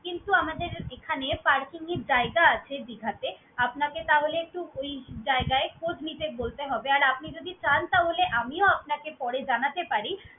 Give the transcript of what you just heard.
কিন্তু আমাদের এখানে parking এর জায়গা আছে দিঘাতে। আপনাকে তাহলে একটু ওই জায়গায় খোঁজ নিতে বলতে হবে। আর আপনি যদি চান তাহলে আমিও আপনাকে পরে জানাতে পারি।